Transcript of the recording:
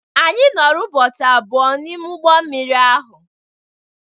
Anyị nọrọ ụbọchị abụọ n'ime ụgbọ mmiri ahụ